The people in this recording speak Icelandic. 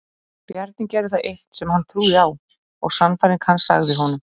Bjarni gerði það eitt sem hann trúði á og sannfæring hans sagði honum.